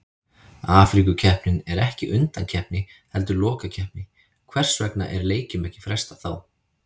Afríkukeppnin er ekki undankeppni heldur lokakeppni, hvers vegna er leikjum ekki frestað þá?